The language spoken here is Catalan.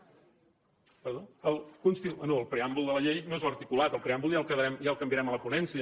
no el preàmbul de la llei no és l’articulat el preàmbul ja el canviarem a la ponència